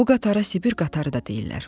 Bu qatara Sibir qatarı da deyirlər.